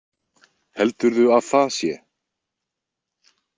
Heldurðu að það sé?